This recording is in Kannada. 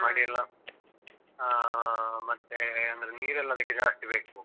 ಮಾಡಿಯೆಲ್ಲ ಹಾ ಮತ್ತೆ ಅಂದ್ರೆ ನೀರೆಲ್ಲ ಅದಿಕ್ಕೆ ಜಾಸ್ತಿ ಬೇಕು.